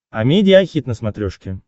амедиа хит на смотрешке